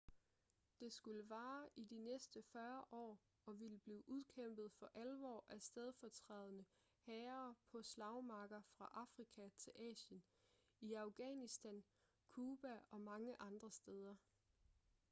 det skulle vare i de næste 40 år og ville blive udkæmpet for alvor af stedfortrædende hære på slagmarker fra afrika til asien i afghanistan cuba og mange andre steder